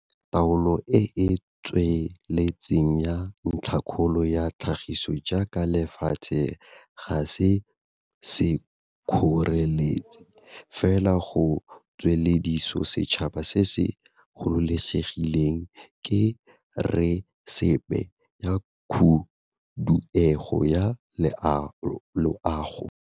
Taolo e e tsweletseng ya ntlhakgolo ya tlhagiso jaaka lefatshe ga se sekgoreletsi fela go tswelediso setšhaba se se gololosegileng, ke resepe ya khuduego ya loago.